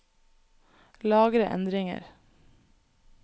Lagre endringer